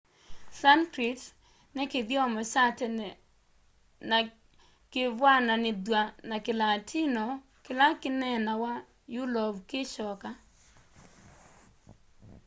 sanskrit ni kithyomo kya tene na kivw'ananithw'a na kilatino kila kinaeenawa yulovu kikyoka